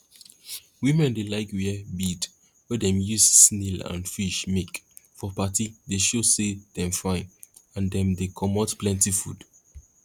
women dey like wear bead wey dem use snail and fish make for party dey show say dem fine and dem dey comot plenty food